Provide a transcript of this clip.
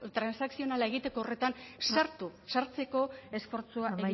transakzionala egiteko horretan sartu sartzeko esfortzua